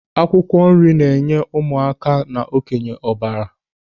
Akwụkwọ nri na-enye ụmụ aka na okenye ọbara.